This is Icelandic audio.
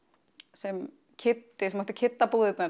sem Kiddi sem átti